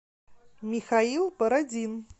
михаил бородин